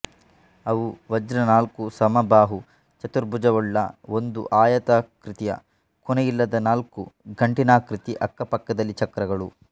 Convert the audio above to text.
ಅವು ವಜ್ರ ನಾಲ್ಕು ಸಮಬಾಹು ಚತುರ್ಭುಜವುಳ್ಳ ಒಂದು ಆಯಾತಾ ಕೃತಿ ಕೊನೆಯಿಲ್ಲದ ನಾಲ್ಕು ಗಂಟಿನಾಕೃತಿ ಅಕ್ಕಪಕ್ಕದಲ್ಲಿ ಚಕ್ರಗಳು